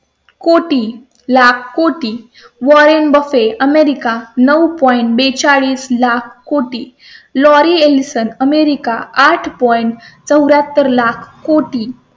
कोटी लाख कोटी Warren Buffett America नऊ पॉइंट point बेचाळीस लाख कोटी लोरी एलिसन अमेरिका आठौ नॅट चौर् याहत्तर लाख कोटी.